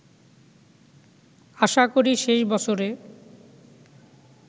আশা করি শেষ বছরে